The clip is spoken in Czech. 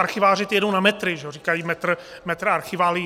Archiváři, ti jedou na metry - říkají metr archiválií.